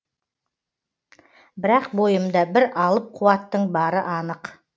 бірақ бойымда бір алып қуаттың бары анық